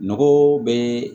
Nogo bɛ